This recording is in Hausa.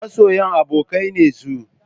Masoyan abokai ne su?